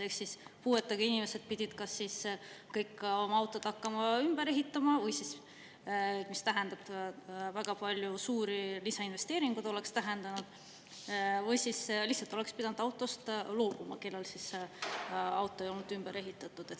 Seega oleksid puuetega inimesed pidanud kas oma auto ümber ehitama, mis oleks tähendanud väga suuri lisainvesteeringuid, või lihtsalt autost loobuma, kui auto ei olnud ümber ehitatud.